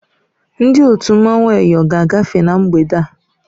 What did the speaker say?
Ndị otu mmanwụ Eyọ ga-agafe na mgbede a.